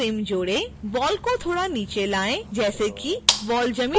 ball को थोड़ा नीचे लाएँ जैसे कि बॉल जमीन को छूती हो